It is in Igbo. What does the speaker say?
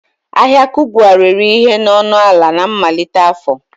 Ahịa Kubwa rere ihe na ọnụ ala na mmalite afọ